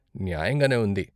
న్యాయంగానే ఉంది!